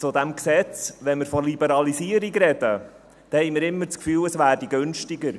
Zu diesem Gesetz: Wenn wir von Liberalisierung sprechen, haben wir immer das Gefühl, es werde günstiger.